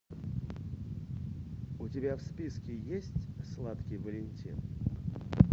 у тебя в списке есть сладкий валентин